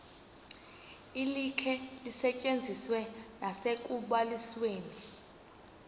likhe lisetyenziswe nasekubalisweni